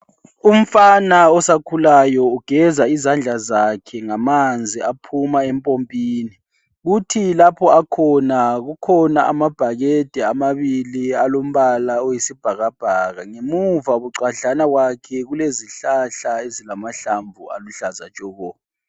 Umfana osakhulayo ugeza izandla zakhe ngamanzi aphuma empopini, futhi lapha akhona kukhona amabhakede amabili alombala oyisibhakabhaka. Ngemuva bucwadlana kwakhe kulezihlahla ezilamahlamvu aluhlaza tshoko.